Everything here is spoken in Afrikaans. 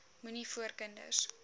moenie voor kinders